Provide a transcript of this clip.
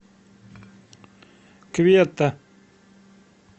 кветта